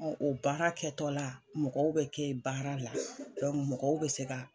Ɔn o baara kɛ tɔla mɔgɔw be kɛ baara la mɔgɔw be se ka.